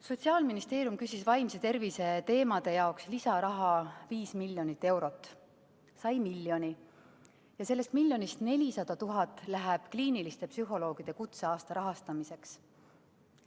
Sotsiaalministeerium küsis vaimse tervise teemade jaoks lisaraha 5 miljonit eurot, sai miljoni ja sellest miljonist 400 000 läheb kliiniliste psühholoogide kutseaasta rahastamiseks.